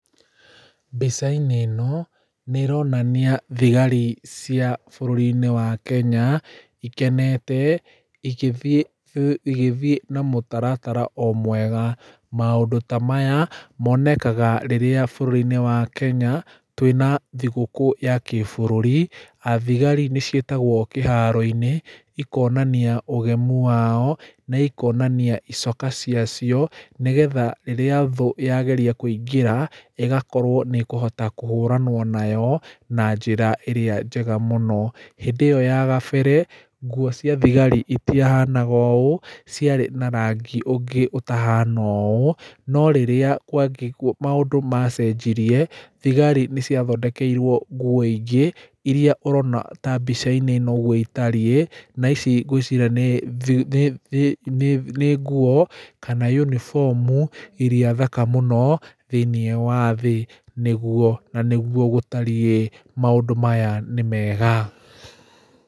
Mbica-inĩ ĩno nĩĩronania thigari cia bũrũri wa Kenya, ikenete, igĩthiĩ na mũtaratara o mwega. Maũndũ ta maya monekaga rĩrĩa bũrũri-nĩ wa Kenya twĩna thigũkũ ya kĩbũrũri. Athigari nĩciĩtagwo kĩharo-inĩ, ikonania ũgemũ wao, na ikonania icoka ciacio nĩgetha rĩrĩa thũ yagĩria kũingĩra, ĩgakorwo atĩ nĩĩkũhũranũo nayo na njĩra ĩrĩa njĩga mũno. Hĩndĩ ĩyo ya gabere, ngũo cia thigari itiahanga ũũ, ciarĩ na ranngi ũngĩ ũtahana ũũ, no rĩrĩa maũndũ macenjirie thigari nĩciathondekeirũo ngũo ingĩ irĩa ũrona ta mbica-inĩ ĩno ũrĩa ĩtariĩ, na ici ngwĩciria nĩ nĩ thũ nĩ ngũo kana uniform irĩa thaka mũno thĩinĩ wa thĩ. Nĩgũo na nĩgũo gũthariĩ maũndũ maya nĩmega.